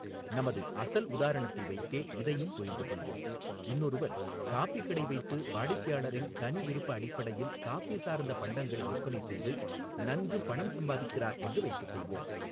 நமது அசல் உதாரணத்தை வைத்தே இதையும் புரிந்துகொள்வோம், இன்னொருவர் காபிக் கடை வைத்து வாடிக்கையாளரின் தனிவிருப்ப அடிப்படையில் காபி சார்ந்த பண்டங்களை விற்பனைசெய்து நன்கு பணம் சம்பாதிக்கிறார் என்று வைத்துக்கொள்வோம்.